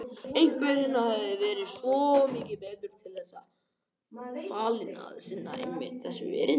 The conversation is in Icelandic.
Einhver hinna hefði verið svo mikið betur til þess fallinn að sinna einmitt þessu erindi.